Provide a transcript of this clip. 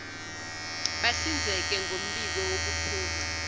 bahlinzeke ngombiko wokuphuma